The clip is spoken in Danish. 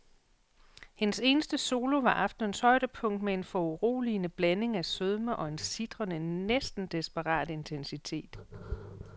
Hendes eneste solo var aftenens højdepunkt med en foruroligende blanding af sødme og en sitrende, næsten desperat intensitet.